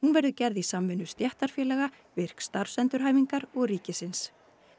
verður gerð í samvinnu stéttarfélaga virk starfsendurhæfingar og ríkisins